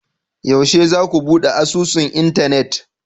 yaushe zaku bude asusun Internet?